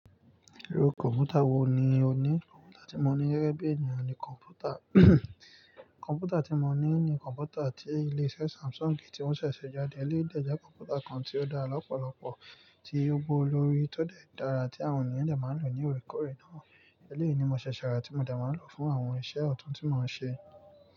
Irú kọ̀mpútà wò ní ọ ní? Kọ̀mpútà tí mo ní gege bí ènìyàn ní kọ̀mpútà. Kọ̀mpútà tí mo ní ní kọ̀mpútà tí ilé iṣẹ́ Samsung ti won ṣẹ̀ṣẹ̀ se jáde. Éleyi dè jẹ́ kọ̀mpútà kan tí ó dá lọ́pọ̀lọpọ̀, tí ó gbówo lórí, ti o de dára tí àwọn ènìyàn dẹ máa ń lò ní òrèkòrè náà. Èléyìí ni mo ṣẹ̀ṣẹ̀ rà tí mo dẹ máa ń lò fún àwọn iṣẹ́ ọ̀tún tí mo ń ṣe.